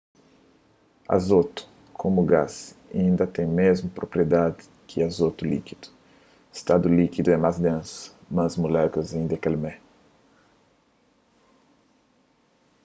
azotu komu gás inda ten mésmu propriedadis ki azotu likidu stadu likidu é más densu mas mulékulas inda é kel mé